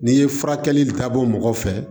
N'i ye furakɛli ka bɔ mɔgɔ fɛ